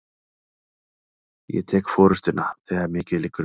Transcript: Ég tek forystuna, þegar mikið liggur við!